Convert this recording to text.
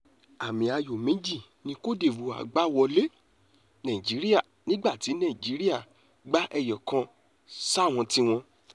àmì ayò méjì ni côte divore gbà wọlé nigeria nígbà tí nàìjíríà gba ẹyọkàn sáwọn tiwọn